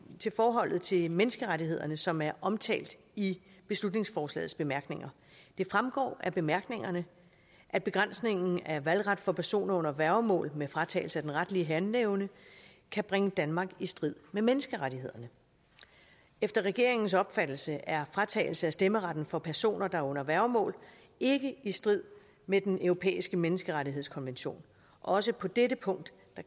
til forholdet til menneskerettighederne som er omtalt i beslutningsforslagets bemærkninger det fremgår af bemærkningerne at begrænsningen af valgret for personer under værgemål med fratagelse af den retlige handleevne kan bringe danmark i strid med menneskerettighederne efter regeringens opfattelse er fratagelse af stemmeretten for personer der er under værgemål ikke i strid med den europæiske menneskerettighedskonvention og også på dette punkt